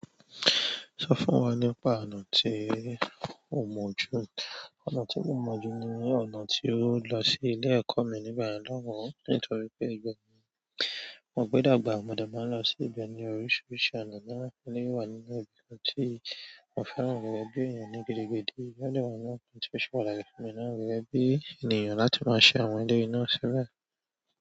Sọ fún wa nípa ọ̀nà tí o mọ jù. Ọ̀nà tí mo mọ jù ni ọ̀nà tí ó lọ sí ilé ẹ̀kọ́ mi nígbà yẹ̀n lohun, nítorí pé ibemo gbẹ́dàgbà, mo de maa n lọ sí ibẹ̀ ní oríṣiríṣi ọ̀nà náà. Eleyi wà nínú ibi tí mo fẹ́ràn gẹ́gẹ́ bí èèyàn ní gidigidi, o de wáa ńa àwọn ti o ṣe pàtàkì gun mi náà gẹ́gẹ́ bí ènìyàn láti máa ṣe àwọn eleeyi ná síbẹ̀.